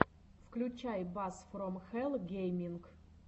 включай бас фром хэлл гейминг